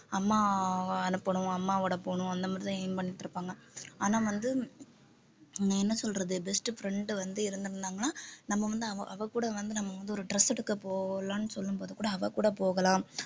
அம்மாவ அனுப்பணும் அம்மாவோட போகணும் அந்த மாதிரிதான் aim பண்ணிட்டு இருப்பாங்க ஆனால் வந்து உம் என்ன சொல்றது best friend வந்து இருந்திருந்தாங்கன்னா நம்ம வந்து அவ அவ கூட வந்து நம்ம வந்து ஒரு dress எடுக்க போலாம்ன்னு சொல்லும்போது கூட அவள் கூட போகலாம்